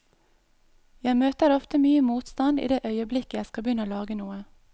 Jeg møter ofte mye motstand i det øyeblikket jeg skal begynne å lage noe.